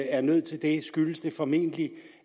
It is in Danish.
er nødt til det skyldes det formentlig